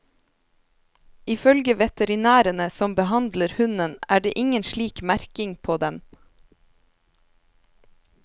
Ifølge veterinærene som behandler hunden, er det ingen slik merking på den.